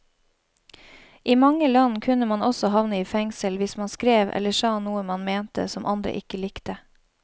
I mange land kunne man også havne i fengsel hvis man skrev eller sa noe man mente som andre ikke likte.